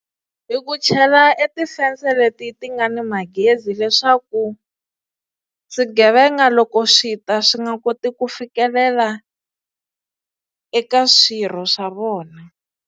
I ku chela e ti-sensor leti ti nga ni magezi leswaku swigevenga loko swi ta swi nga koti ku fikelela eka swirho swa vona.